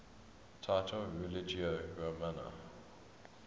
title religio romana